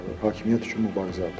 Hakimiyyət üçün mübarizə aparır.